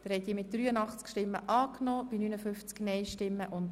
Gesamtabstimmung (1. Lesung)